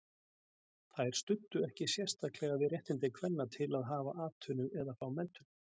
Þær studdu ekki sérstaklega við réttindi kvenna til að hafa atvinnu eða fá menntun.